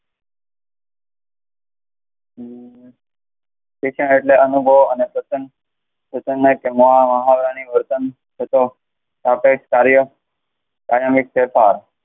અમ શિક્ષણ એટલે અનુભવ અને કાયમી ફેરફાર.